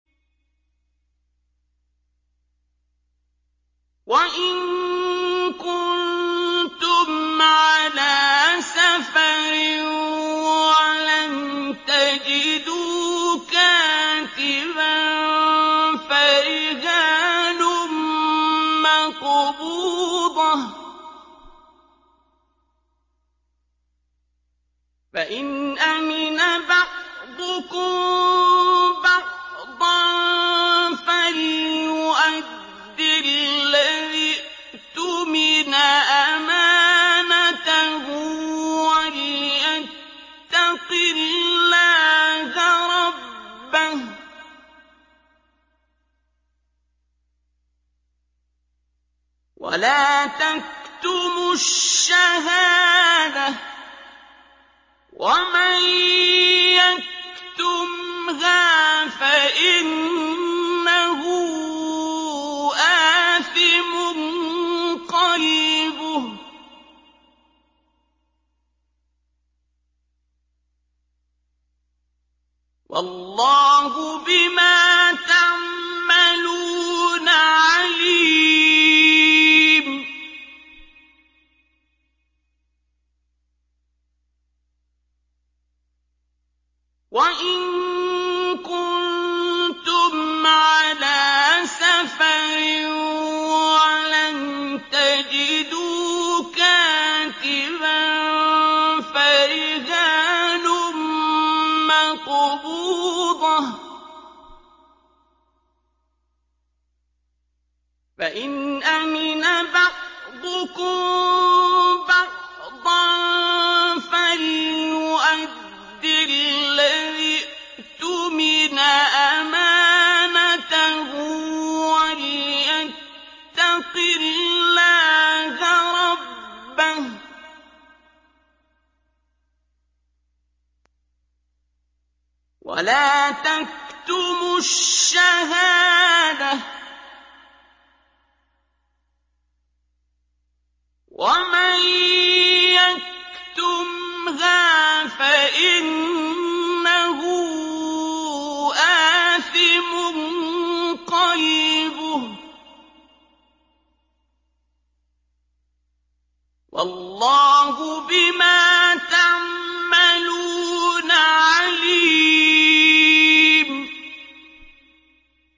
۞ وَإِن كُنتُمْ عَلَىٰ سَفَرٍ وَلَمْ تَجِدُوا كَاتِبًا فَرِهَانٌ مَّقْبُوضَةٌ ۖ فَإِنْ أَمِنَ بَعْضُكُم بَعْضًا فَلْيُؤَدِّ الَّذِي اؤْتُمِنَ أَمَانَتَهُ وَلْيَتَّقِ اللَّهَ رَبَّهُ ۗ وَلَا تَكْتُمُوا الشَّهَادَةَ ۚ وَمَن يَكْتُمْهَا فَإِنَّهُ آثِمٌ قَلْبُهُ ۗ وَاللَّهُ بِمَا تَعْمَلُونَ عَلِيمٌ